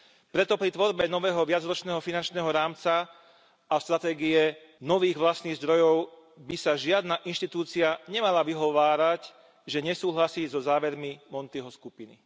Preto pri tvorbe nového viacročného finančného rámca a stratégie nových vlastných zdrojov by sa žiadna inštitúcia nemala vyhovárať, že nesúhlasí so závermi Montiho skupiny.